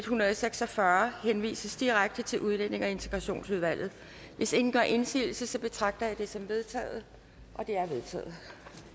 hundrede og seks og fyrre henvises direkte til udlændinge og integrationsudvalget hvis ingen gør indsigelse betragter jeg det som vedtaget